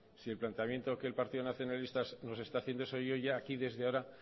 si el planteamiento que el partido nacionalista nos está haciendo eso yo ya aquí desde ahora